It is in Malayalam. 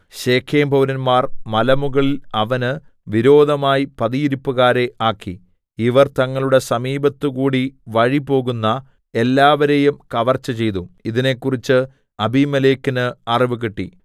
ശെഖേംപൌരന്മാർ മലമുകളിൽ അവന് വിരോധമായി പതിയിരിപ്പുകാരെ ആക്കി ഇവർ തങ്ങളുടെ സമീപത്തുകൂടി വഴിപോകുന്ന എല്ലാവരേയും കവർച്ച ചെയ്തു ഇതിനെക്കുറിച്ച് അബീമേലെക്കിന് അറിവുകിട്ടി